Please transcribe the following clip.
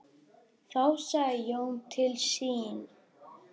Þá sagði Jón til sín.